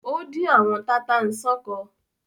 Ó dín àwọn tata-n-sánkọ